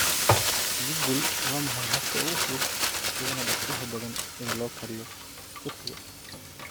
google waa maxay habka ugu fudud uguna dhaqsiyaha badan ee loo kariyo turkiga